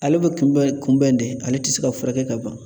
Ale bɛ kunbɛn kunbɛn de ,ale tɛ se ka furakɛ ka ban.